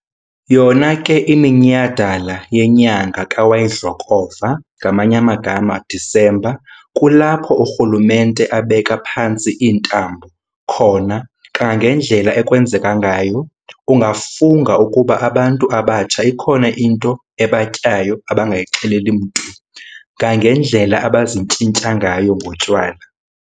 Yona ke iminyhadala yenyanga ka wayidlokova, December, kulapho urhulumente abeka phantsi iintambo khona kangangendlela ekwenzeka ngayo. Ungafunga ukuba abantu abatsha ikhona into ebatyayo abangayixeleli mntu ngangendlela abazintyintya ngayo ngotywala.